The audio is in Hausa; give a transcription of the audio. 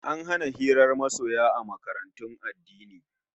An hana hirar masoya a makarantun addini